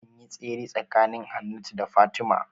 Anyi tsere tsakanin Hannatu da Fatima